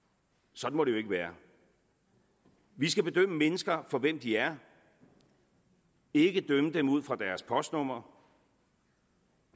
sådan må det jo ikke være vi skal bedømme mennesker fra hvem de er og ikke dømme dem ud fra deres postnummer